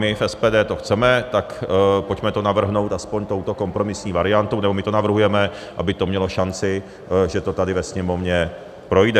My v SPD to chceme, tak pojďme to navrhnout aspoň touto kompromisní variantou, nebo my to navrhujeme, aby to mělo šanci, že to tady ve Sněmovně projde.